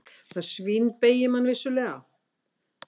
Það svínbeygir mann vissulega.